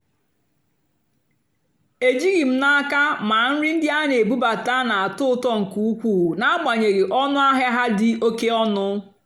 éjìghị́ m n'ákà mà nrì ndí á nà-èbúbátá nà-àtọ́ ụ́tọ́ nkè ùkwúù n'àgbányéghị́ ónú àhịá há dì́ óké ónú.